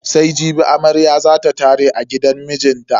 Sai jibi amarya za ta tare a gidan mijinta.